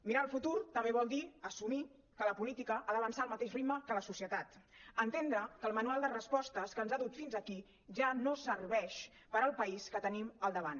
mirar el futur també vol dir assumir que la política ha d’avançar al mateix ritme que la societat entendre que el manual de respostes que ens ha dut fins aquí ja no serveix per al país que tenim al davant